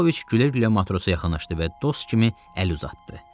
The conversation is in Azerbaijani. Pavloviç gülə-gülə matrosa yaxınlaşdı və dost kimi əl uzatdı.